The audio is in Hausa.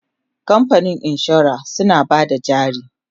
kamfanin insura suna Bada jari